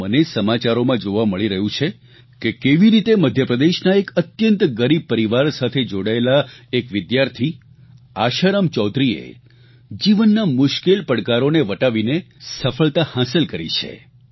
તો મને સમાચારોમાં જોવા મળી રહ્યું છે કે કેવી રીતે મધ્યપ્રદેશના એક અત્યંત ગરીબ પરિવાર સાથે જોડાયેલા એક વિદ્યાર્થી આશારામ ચૌધરીએ જીવનના મુશ્કેલ પડકારોને વટાવીને સફળતા હાંસલ કરી છે